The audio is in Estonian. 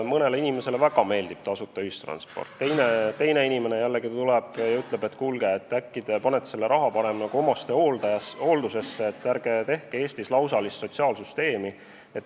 Mõnele väga meeldib tasuta ühistransport, teine jällegi tuleb ja ütleb, et kuulge, äkki panete selle raha parem omastehooldusesse, ärge tehke Eestis lausalist sotsiaalsüsteemi.